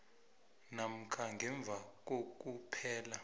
namkha ngemva kokuphela